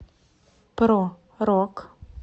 про рок